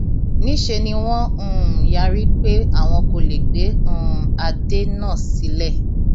níṣẹ ni wọn um yarí pé àwọn kò lè gbé um adé náà sílẹ